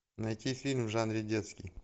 найти фильм в жанре детский